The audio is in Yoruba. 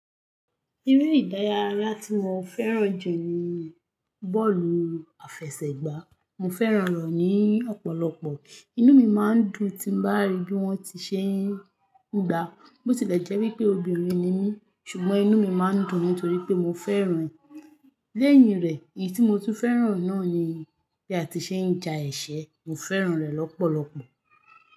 Eré ìdárayá tí mo fẹ́ràn jù ní bọ́ọ̀lù àfẹsẹ̀gbá. Mo fẹ́ràn rẹ̀ ni ọ̀pọ̀lọpọ̀. Inú mi máa ń dùn tí bá rí bí wón ti ṣe ń gbá. Botilẹjẹ́ wípé obìnrin ni mí ṣùgbọ́n inú mi máa ń dùn nítorí pé mo fẹ́ràn ẹ̀. Léyìn rẹ̀, èyí tí mo tún fẹ́ràn náà ni bí a ti ṣe ń ja ẹse. Mo fẹ́ràn rẹ̀ lọ́pọ̀lọpọ̀.